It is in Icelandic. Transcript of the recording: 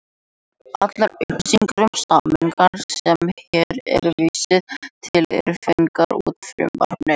Allar upplýsingar um samningana sem hér er vísað til eru fengnar úr frumvarpinu.